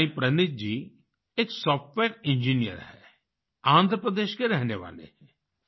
साई प्रनीथ जी एक software engineer हैं आंध्र प्रदेश के रहने वाले हैं